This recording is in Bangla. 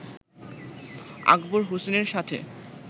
আকবর হোসেনের সাথে